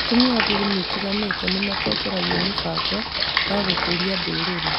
Atumia a ndini itiganĩte nĩ matongoragia mĩbango ya gũkũria ndũrĩrĩ.